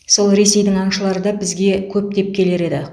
сол ресейдің аңшылары да бізге көптеп келер еді